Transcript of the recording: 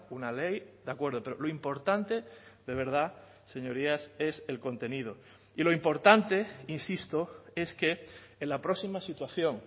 una ley de acuerdo pero lo importante de verdad señorías es el contenido y lo importante insisto es que en la próxima situación